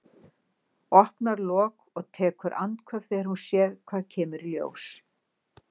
Opnar lok og tekur andköf þegar hún sér hvað kemur í ljós.